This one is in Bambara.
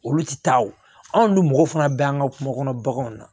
Olu ti taa olu mɔgɔw fana bɛ an ka kungo kɔnɔ baganw na